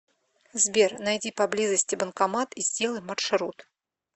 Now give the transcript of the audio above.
сбер найди поблизости банкомат и сделай маршрут